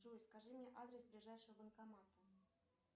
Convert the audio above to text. джой скажи мне адрес ближайшего банкомата